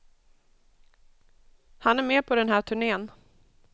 Han är med på den här turnén.